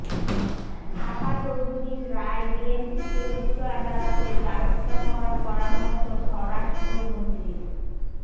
সাকা চৌধুরীর রায় বিএনপিকে উচ্চ আদালতের দ্বারস্থ হওয়ার পরামর্শ স্বরাষ্ট্রমন্ত্রীর